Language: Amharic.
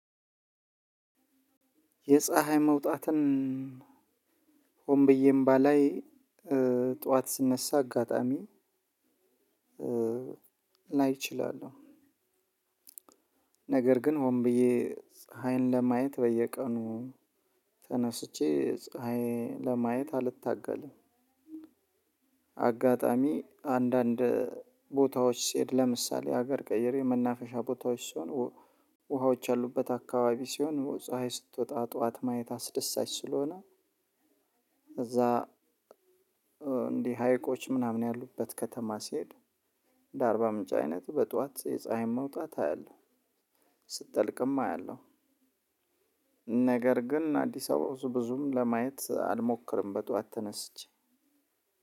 የፀሀይ መውጣትን ሆን ብዬም ባላይ ጠዋት ስነሳ አጋጣሚ ላይ እችላለሁ ነገር ግን ሆንብዬ ፀሀይን ለማየት በየቀኑ ተነስቼ ፀሀይ ለማየት አልታገልም። በአጋጣሚ አንዳንድ ቦታዎች ስሄድ ለምሳሌ ሀገር ቀይሬ መናፈሻ ቦታዎች ስሆን ውሃዎች ያሉበት አከባቢ ሲሆን ጽሃይ ስትወጣ ጠዋት ስትወጣ ማየት አስደሳች ስለሆነ። እዛ እንዲህ ሀይቆች ምናምን ያሉበት ከተማ ሲሄድ እንደ አርባ ምንጭ አይነት በጧት የፀሀይን መውጣት አያለሁ። ስትጠልቅም አያለሁ። ነገር ግን አዲስ አበባ ብዙም ለማየት አልሞክርም በጠዋት ተነስቼ